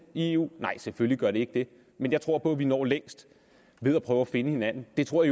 i eu nej selvfølgelig gør det ikke det men jeg tror på at vi når længst ved at prøve at finde hinanden det tror